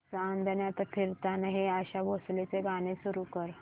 चांदण्यात फिरताना हे आशा भोसलेंचे गाणे सुरू कर